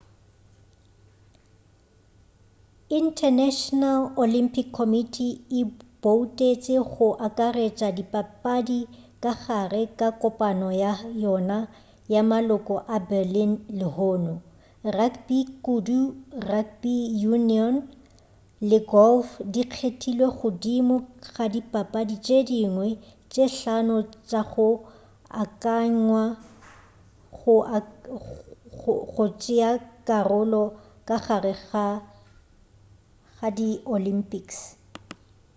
international olympic committee e boutetše go akaretša dipapadi ka gare ga kopano ya yona ya maloko ka berlin lehono rugby kudu rugby union le golf di kgethilwe godimo ga dipapadi tše dingwe tše hlano tša go akanywa go tšeakarolo ka gare ga di olympics